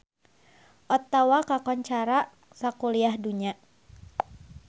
Ottawa kakoncara sakuliah dunya